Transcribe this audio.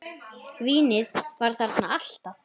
Vínið var þarna alltaf.